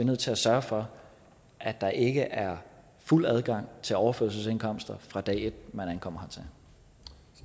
nødt til at sørge for at der ikke er fuld adgang til overførselsindkomster fra dag et